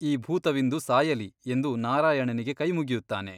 ಈ ಭೂತವಿಂದು ಸಾಯಲಿ ಎಂದು ನಾರಾಯಣನಿಗೆ ಕೈಮುಗಿಯುತ್ತಾನೆ.